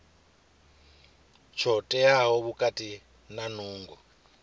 tsho teaho khathihi na nungo